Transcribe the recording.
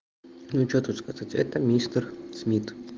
ну что тут сказать это мистер смит